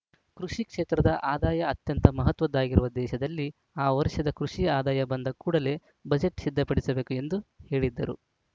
ಕೃಷಿ ಕ್ಷೇತ್ರದ ಆದಾಯ ಅತ್ಯಂತ ಮಹತ್ವದ್ದಾಗಿರುವ ದೇಶದಲ್ಲಿ ಆ ವರ್ಷದ ಕೃಷಿ ಆದಾಯ ಬಂದ ಕೂಡಲೇ ಬಜೆಟ್‌ ಸಿದ್ಧಪಡಿಸಬೇಕು ಎಂದು ಹೇಳಿದ್ದರು